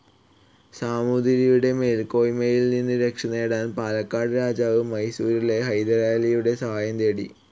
സാമൂതിരിയുടെ മേൽകോയ്മയിൽ നിന്നും രക്ഷ നേടാൻ പാലക്കാട് രാജാവ് മൈസൂരിലെ ഹൈദരാലിയുടെ സഹായം തേടി.